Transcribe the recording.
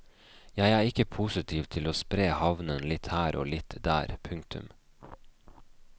Jeg er ikke positiv til å spre havnen litt her og litt der. punktum